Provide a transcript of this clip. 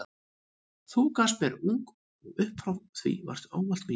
Þú gafst mér ung og upp frá því varstu ávallt mín.